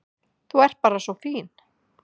Þú ert bara svo fín.